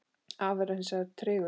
Afli var hins vegar tregur.